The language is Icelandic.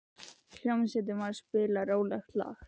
Hljómsveitin var að spila rólegt lag.